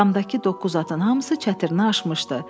Damdakı doqquz atın hamısı çətrini açmışdı.